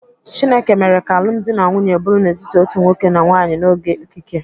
Chineke mere ka alụmdi na nwunye bụrụ n'etiti otu nwoke na nwaanyị n'oge okike.